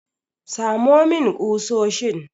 Samo min ƙusoshin!